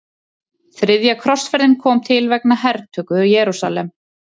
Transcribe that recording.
Þriðja krossferðin kom til vegna hertöku Jerúsalem.